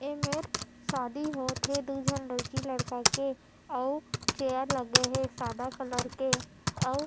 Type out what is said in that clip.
ए मे शादी होत दू जन लकी लड़का के और चेयर लगे हे सादा कलर के और--